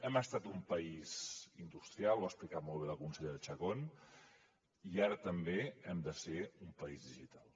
hem estat un país industrial ho ha explicat molt bé la consellera chacón i ara també hem de ser un país digital